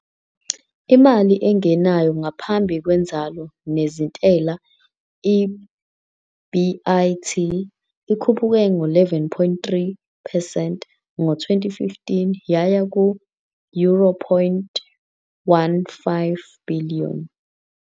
Imali engenayo ngaphambi kwenzalo nezintela, EBIT, ikhuphuke ngo-11.3 percent ngo-2015 yaya ku- euro point 1.5 billion.